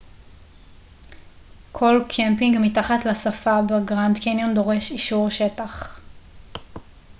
כל קמפינג מתחת לשפה בגרנד קניון דורש אישור שטח